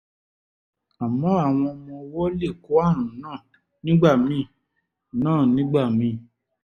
àmọ́ àwọn ọmọ ọwọ́ lè kó ààrùn náà nígbà míì náà nígbà míì